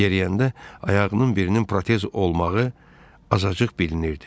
Yeriyəndə ayağının birinin protez olmağı azacıq bilinirdi.